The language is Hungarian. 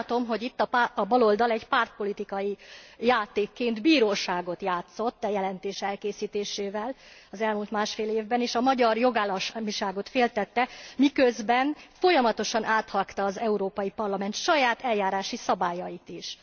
Én úgy látom, hogy itt a baloldal egy pártpolitikai játékként bíróságot játszott a jelentés elkészítésével az elmúlt másfél évben, és a magyar jogállamiságot féltette, miközben folyamatosan áthágta az Európai Parlament saját eljárási szabályait is.